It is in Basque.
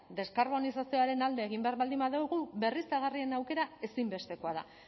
deskarbonizazioaren alde egin behar baldin badugu berriztagarrien aukera ezinbestekoa da